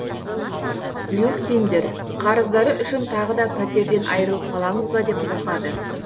люхтиндер қарыздары үшін тағы да пәтерден айырылып қаламыз ба деп қорқады